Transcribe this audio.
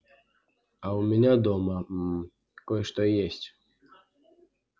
а у меня дома мм кое-что есть